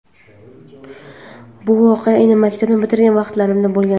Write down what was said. Bu voqea endi maktabni bitirgan vaqtlarimda bo‘lgan.